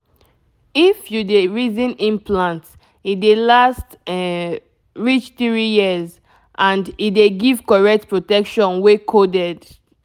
if you dey reason implant e dey last um reach three years — and e dey give correct protection wey coded.